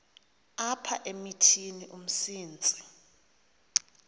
apha emithini umsintsi